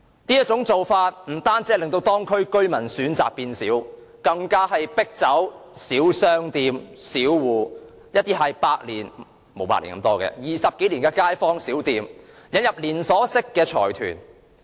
這種做法不單令當區居民的選擇減少，更迫走地區的小商戶、20多年的街坊小店，轉而引入連鎖式財團。